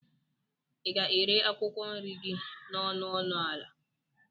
ị ga-ere akwụkwọ nri gị n'ọnụ ọnụ ala?